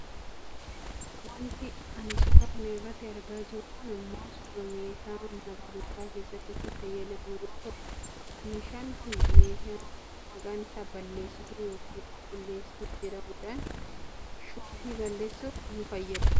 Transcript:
Wanti ani suuraa kana irratti argaa jiru kun ammoo suuraa meeshaa mana barnootaa keessatti itti fayyadamnu yoo ta'u meeshaan kun meeshaa maqaan isaa balleessituu yookaan qulqulleesituu jedhamudha. Shookii balleessuuf nu fayyada.